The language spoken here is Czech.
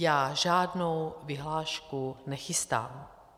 Já žádnou vyhlášku nechystám.